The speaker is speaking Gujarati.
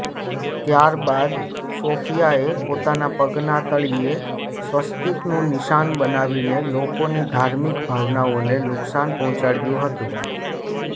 ત્યારબાદ સોફિયાએ પોતાના પગના તળિયે સ્વસ્તિકનુ નિશાન બનાવીને લોકોની ધાર્મિક ભાવનાઓને નુકશાન પહોંચાડ્યુ હતુ